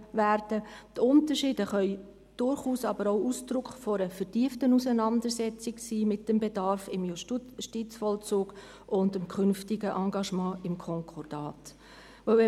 Die Unterschiede können durchaus auch Ausdruck einer vertieften Auseinandersetzung mit dem Bedarf im Justizvollzug und dem künftigen Engagement im Konkordat sein.